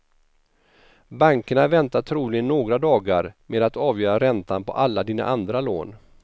Bankerna väntar troligen några dagar med att avgöra räntan på alla dina andra lån.